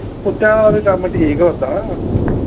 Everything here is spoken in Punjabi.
ਕੁਤਿਆਂ ਵਾਲਾ ਵੀ ਕੰਮ ਠੀਕ ਆ ਉਦਾ